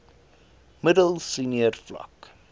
middel senior vlak